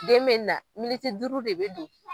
Den bɛ na militi duuru de bɛ don